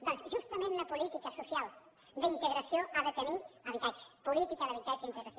doncs justament una política social d’integració ha de tenir habitatge política d’habitatge i integració